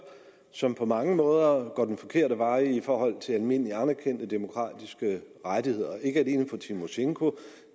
som på mange måder går den forkerte vej i forhold til almindeligt anerkendte demokratiske rettigheder ikke alene med tymosjenko